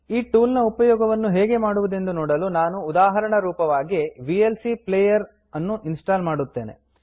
ಈ ಟೂಲ್ ನ ಉಪಯೋಗವನ್ನು ಹೇಗೆ ಮಾಡುವುದೆಂದು ನೋಡಲು ನಾನು ಉದಾಹರಣರೂಪವಾಗಿ VLC player V L C player ಅನ್ನು ಇನ್ಸ್ಟಾಲ್ ಮಾಡುತ್ತೇನೆ